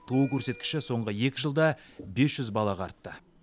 туу көрсеткіші соңғы екі жылда бес жүз балаға артты